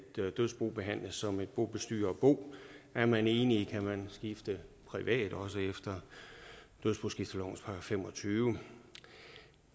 dødsbo behandles som et bobestyrerbo er man enig kan man skifte privat også efter dødsboskiftelovens § femogtyvende